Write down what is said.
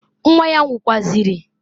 Nwa ya nwukwazịrị.